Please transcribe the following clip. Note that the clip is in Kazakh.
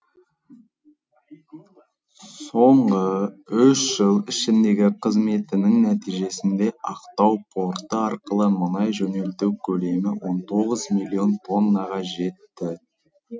соңғы үш жыл ішіндегі қызметінің нәтижесінде ақтау порты арқылы мұнай жөнелту көлемі он тоғыз миллион тоннаға жетті